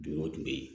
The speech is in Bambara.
Dunko dun bɛ yen